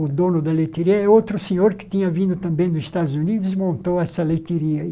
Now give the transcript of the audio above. O dono da leiteirinha é outro senhor que tinha vindo também dos Estados Unidos e montou essa leiteirinha aí.